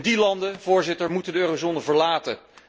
Die landen, Voorzitter, moeten de eurozone verlaten.